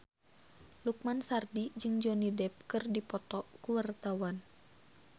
Lukman Sardi jeung Johnny Depp keur dipoto ku wartawan